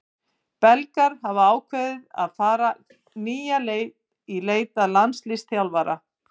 Belgar hafa ákveðið að fara nýja leið í leit að landsliðsþjálfara.